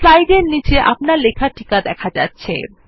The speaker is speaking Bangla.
স্লাইডের নীচে আপনার লেখা টিকা দেখা যাচ্ছে